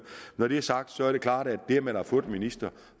når det er sagt så er det klart at når man har fået en minister